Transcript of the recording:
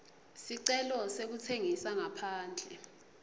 sicelo sekutsengisa ngaphandle